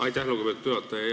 Aitäh, lugupeetud juhataja!